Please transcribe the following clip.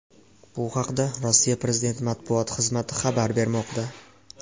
Bu haqda Rossiya prezidenti matbuot xizmati xabar bermoqda .